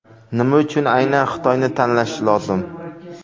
Nima uchun aynan Xitoyni tanlash lozim?